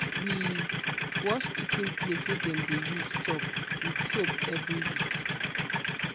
we wash chicken plate wey dem dey use chop with soap every week.